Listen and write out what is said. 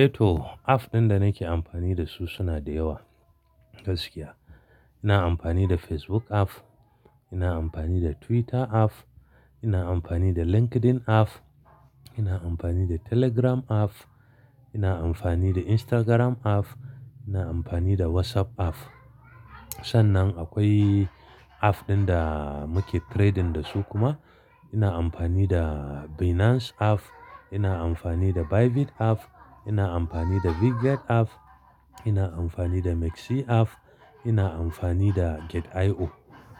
Eh to, app ɗin da nake amfani da su suna da yawa gaskiya. Ina amfani da Facebook app, ina amfani da Twitter app, ina amfani da LinkedIn app, ina amfani da Telegram app, ina amfani da Instagram app, ina amfani da WhatsApp app. Sannan akwai app ɗin da muke trading da su kuma. Ina amfani da Binance app, ina amfani da Bybit app, ina amfani da Bitget app, ina amfani da MEXC app, ina amfani da Gate.io.